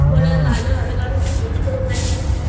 ভালই হবে কারণ North এর দিকে ওখানে